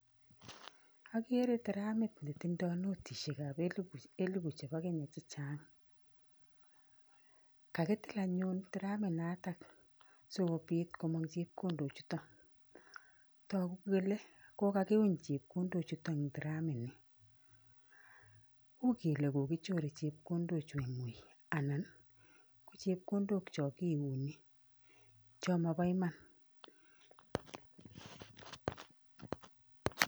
Akere teramit netindoi notishekap elipu chepo Kenya chechang. Kakitil anyun teraminoto sikopit komong chepkondochuto. Toku kele kokakiuny chepkondochuto eng teramini. U kele kokichore chepkondochu eng ui anan ko chepkondok chokiuni, cho mobo iman.